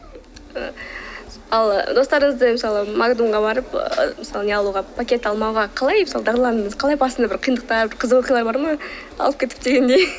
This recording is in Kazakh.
ал достарыңызды мысалы магнумға барып ы мысалы не алуға пакет алмауға қалай дағдыландыңыз қалай басында бір қиындықтар қызық оқиғалар бар ма алып кетіп дегендей